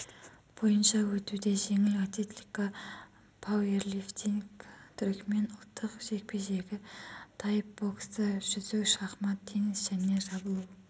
бойынша өтуде жеңіл атлетика пауэрлифтинг түрікмен ұлттық жекпе-жегі тай боксы жүзу шахмат теннис және жабылу